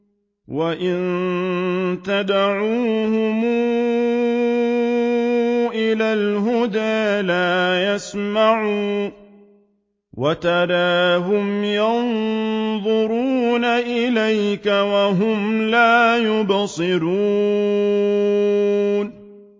وَإِن تَدْعُوهُمْ إِلَى الْهُدَىٰ لَا يَسْمَعُوا ۖ وَتَرَاهُمْ يَنظُرُونَ إِلَيْكَ وَهُمْ لَا يُبْصِرُونَ